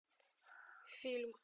фильм